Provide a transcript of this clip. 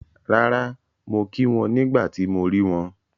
Rárà, mo kí wọn nígbà tí mo rí wọn